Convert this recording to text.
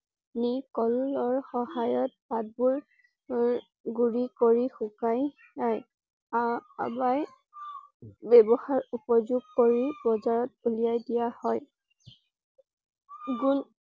নি কলৰ সহায়ত পাতবোৰ গুৰি কৰি শুকাই যায়। আহ ব্যৱহাৰ উপযোগ কৰি বজাৰত উলিয়াই দিয়া হয়। গুণ